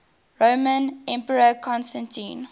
roman emperor constantine